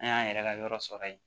An y'an yɛrɛ ka yɔrɔ sɔrɔ yen